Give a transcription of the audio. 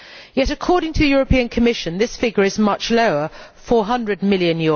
Yet, according to the European Commission, this figure is much lower EUR 400 million.